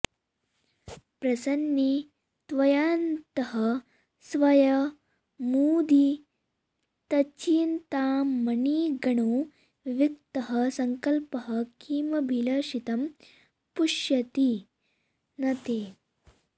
प्रसन्ने त्वय्यन्तः स्वयमुदितचिन्तामणिगणो विविक्तः संकल्पः किमभिलषितं पुष्यति न ते